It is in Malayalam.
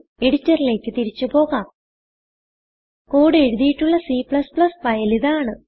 എഡിറ്ററിലേക്ക് തിരിച്ച് പോകാം കോഡ് എഴുതിയിട്ടുള്ള C ഫയൽ ഇതാണ്